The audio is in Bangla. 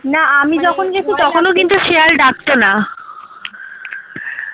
শিয়াল ডাকত না